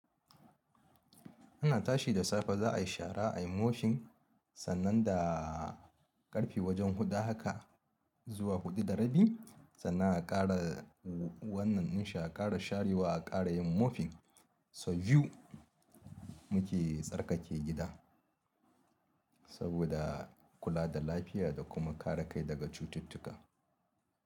Ana tashi da safe za a yi shara, a yi mofin sannan da ƙarfe wajen huɗu haka zuwa huɗu da rabi, sannan a ƙara wannan inshe a ƙara sharewa a ƙara yin mofin. So biyu muke tsarkake gida saboda kula da lafiya da kuma kare kai daga cututtuka.